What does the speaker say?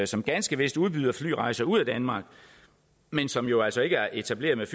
som ganske vist udbyder flyrejser ud af danmark men som jo altså ikke er etableret